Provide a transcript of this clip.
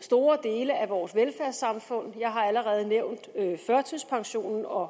store dele af vores velfærdssamfund jeg har allerede nævnt førtidspensionen og